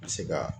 Ka se ka